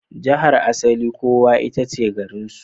Jihar asalin kowa ita ce garinsu.